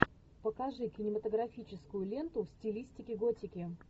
покажи кинематографическую ленту в стилистике готики